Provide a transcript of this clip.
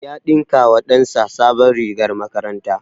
Ya ɗinka wa ɗan sa sabon rigar makaranta